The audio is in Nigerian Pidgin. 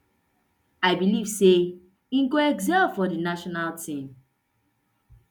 i believe say im go excel for di national team